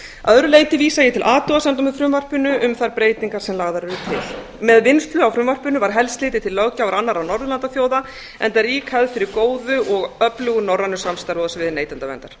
öðru leyti vísa ég til athugasemda með frumvarpinu um þær breytingar sem lagðar eru til með vinnslu á frumvarpinu var helst litið til löggjafar annarra norðurlandaþjóða enda rík hefð fyrir góðu og öflugu norrænu samstarfi